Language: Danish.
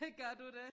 Gør du det?